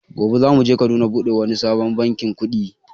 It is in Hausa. Gobe za muje Kaduna buɗe wani sabon bankin kuɗi